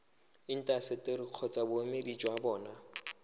intaseteri kgotsa boemedi jwa bona